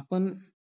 आपण